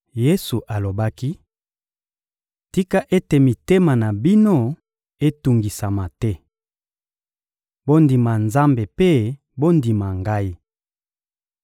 Yesu alobaki: — Tika ete mitema na bino etungisama te! Bondima Nzambe mpe bondima Ngai.